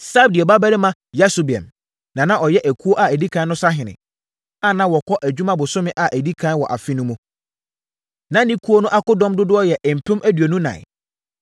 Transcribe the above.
Sabdiel babarima Yasobeam na na ɔyɛ ekuo a ɛdi ɛkan no sahene, a na wɔkɔ adwuma bosome a ɛdi ɛkan wɔ afe no mu. Na ne ekuo no akodɔm dodoɔ yɛ mpem aduonu ɛnan (24,000).